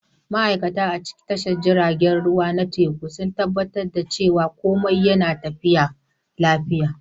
Ma'aikata a tashar jiragen ruwa na teku suna tabbatar da cewa komai yana tafiya lafiya.